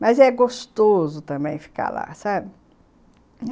Mas é gostoso também ficar lá, sabe?